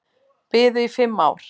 Biðu í fimm ár